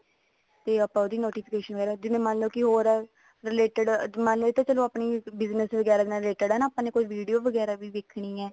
ਤੇ ਆਪਾਂ ਉਹਦੀ notification ਜਿਵੇਂ ਮੰਨ ਲੋ ਕੀ ਹੋਰ related ਮੰਨਲੋ ਇਹ ਤਾਂ ਆਪਣੀ business ਵਗੈਰਾ ਦੇ ਨਾਲ related ਹੈ ਨਾ ਕੀ video ਵਗੈਰਾ ਵੀ ਦੇਖਣੀ ਹੈ